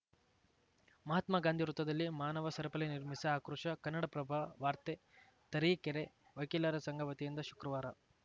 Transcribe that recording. ಮಹಾತ್ಮ ಗಾಂಧಿ ವೃತ್ತದಲ್ಲಿ ಮಾನವ ಸರಪಳಿ ನಿರ್ಮಿಸಿ ಆಕ್ರೋಶ ಕನ್ನಡಪ್ರಭ ವಾರ್ತೆ ತರೀಕೆರೆ ವಕೀಲರ ಸಂಘ ವತಿಯಿಂದ ಶುಕ್ರವಾರ